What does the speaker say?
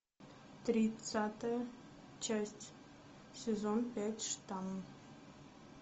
тридцатая часть сезон пять штамм